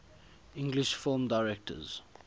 english film directors